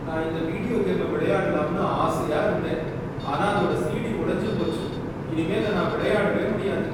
நான் இந்த வீடியோ கேம விளையாடலாம்னு ஆசையா இருந்தேன் ஆனா அதோட சிடி உடஞ்சு போச்சு. இனிமே அத நான் விளையாடவே முடியாது.